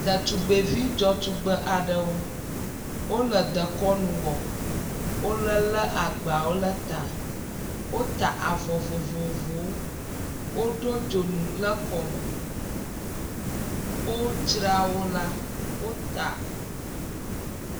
Ɖetugbevi dzɔtugbe aɖewo. Wole dekɔnu wɔ, wolelé agbawo le ta. Wota avɔ vovovowo, woɖo dzonu le kɔme, wodzrawo la, wota..